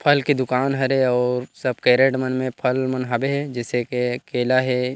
फल की दूकान हरे और सब कैरट मन में फल मन हावे जईसे के केला हे।